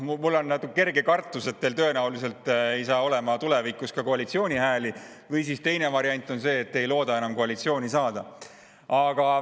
Mul on kerge kartus, et teil tõenäoliselt ei saa tulevikus olema ka koalitsiooni hääli, või teine variant on see, et te ei looda enam koalitsiooni saada.